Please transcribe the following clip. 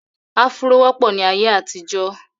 afuró wọ́pọ̀ ní ayé àtijó